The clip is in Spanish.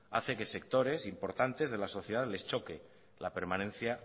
hace que a sectores importantes de la sociedad les choqué la permanencia